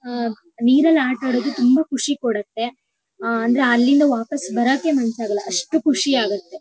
ಆಹ್ಹ್ ನೀರಲ್ ಆಟ ಆಡೋದ್ ತುಂಬಾ ಖುಷಿ ಕೊಡುತ್ತೆ. ಅಹ ಅಂದ್ರೆ ಅಲ್ಲಿಂದ ವಾಪಾಸ್ ಬರೋಕೆ ಮನ್ಸ್ ಆಗಲ್ಲಾ ಅಷ್ಟ್ ಖುಷಿ ಆಗುತ್ತೆ .